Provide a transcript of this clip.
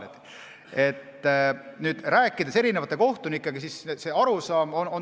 Olen rääkinud mitme kohtunikuga.